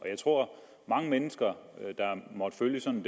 jeg tror at mange mennesker der måtte følge sådan